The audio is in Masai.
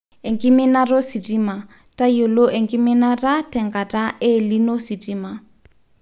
ekiminata ositima, toyiolo enkiminatatenkata e Elnino ositima